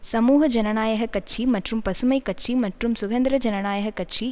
சமூக ஜனநாயக கட்சி மற்றும் பசுமை கட்சி மற்றும் சுதந்திர ஜனநாயக கட்சி